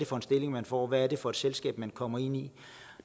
for en stilling man får og hvad det er for et selskab man kommer ind i